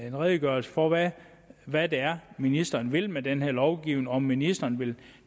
en redegørelse for hvad hvad det er ministeren vil med den her lovgivning om ministeren vil